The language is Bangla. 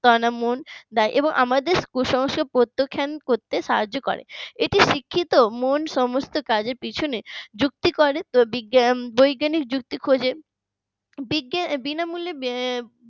এবং আমাদের কুসংস্কার প্রত্যাখ্যান করতে সাহায্য করে এতে শিক্ষিত মন সমস্ত কাজের পিছনে যুক্তি করে বৈজ্ঞানিক যুক্তি খুঁজে বিনামূল্যে